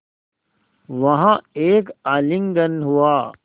वहाँ एक आलिंगन हुआ